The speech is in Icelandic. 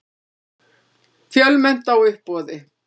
Fjölmennt á uppboði